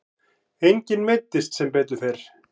Enginn meiddist sem betur fer.